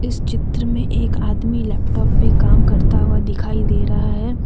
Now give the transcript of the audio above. इस चित्र में एक आदमी लैपटॉप पे काम करता हुआ दिखाई दे रहा है।